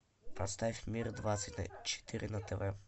поставь мир двадцать четыре на тв